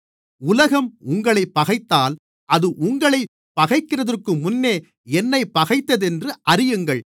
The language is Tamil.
உலகம் உங்களைப் பகைத்தால் அது உங்களைப் பகைக்கிறதற்குமுன்னே என்னைப் பகைத்ததென்று அறியுங்கள்